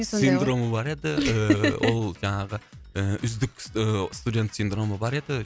сондай ғой синдромы бар еді ыыы ол жаңағы ы үздік ы студент синдромы бар еді